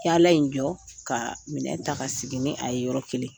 Yala in jɔ, ka minɛ ta ka segin nin a ye yɔrɔ kelen.